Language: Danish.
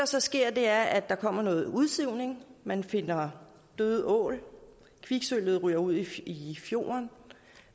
så sker er at der kommer noget udsivning man finder døde ål kviksølvet ryger ud i fjorden